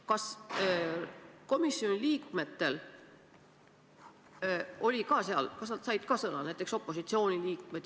Kas komisjoni liikmed said ka seal sõna, näiteks opositsiooni liikmed?